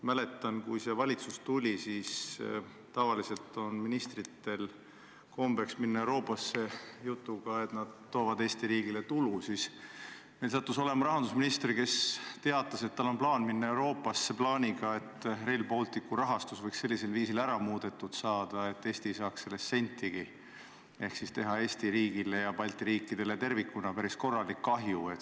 Mäletan, et kui see valitsus tuli – tavaliselt on ministritel kombeks minna Euroopasse jutuga, et nad toovad Eesti riigile tulu –, siis meil sattus olema rahandusminister, kes teatas, et tal on kavas minna Euroopasse plaaniga, et Rail Balticu rahastust võiks muuta sellisel viisil, et Eesti ei saaks sellest sentigi, ehk tekitada Eesti riigile ja Balti riikidele tervikuna päris korralik kahju.